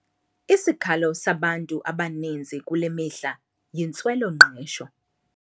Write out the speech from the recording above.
Isikhalo sabantu abaninzi kule mihla yintswelo-ngqesho.